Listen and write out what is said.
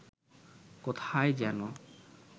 কোথায় যেন